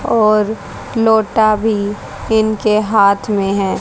और लोटा भी इनके हाथ में है।